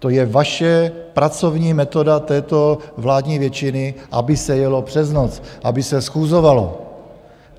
To je vaše pracovní metoda této vládní většiny, aby se jelo přes noc, aby se schůzovalo.